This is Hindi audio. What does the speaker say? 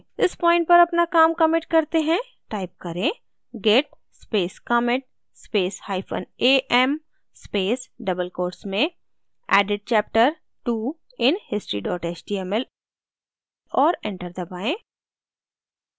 इस point पर अपना काम commit करते हैं टाइप करें git space commit space hyphen am space double quotes में added chapter two in history html और enter दबाएँ